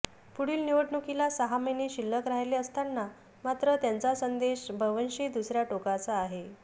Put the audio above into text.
पुढील निवडणुकीला सहा महिने शिल्लक राहिले असताना मात्र त्यांचा संदेश बव्हंशी दुसऱ्या टोकाचा आहे